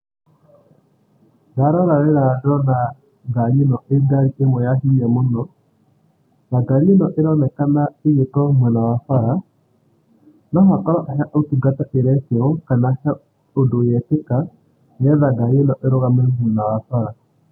Ndarora wega ndona ngari ĩno ĩ ngari ĩmwe ya hinya mũno, na ngari ĩno ĩronekana ĩgĩkorwo mwena wa bara, no ĩkorwo he ũtungata ĩrekĩrwo, kana he ũndũ yekĩka nĩ getha ngari ĩno ĩrũgame mwena wa bara.